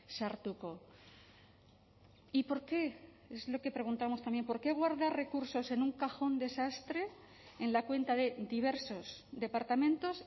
sartuko y por qúe es lo que preguntamos también por qué guardar recursos en un cajón de sastre en la cuenta de diversos departamentos